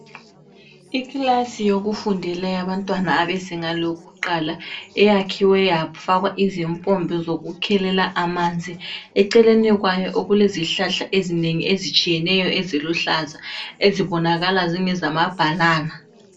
Ikilasi yokufundela yabantwana bezinga lokuqala, iyakhiwe yafakwa izimpompi zokukhelela amanzi. Eceleni kwayo kulezihlahla ezinengi ezitshiyeneyo eziluhlaza ezibonakala zingezamabhanana.